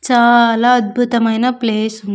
చాలా అద్భుతమైన ప్లేస్ ఉ--